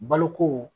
Baloko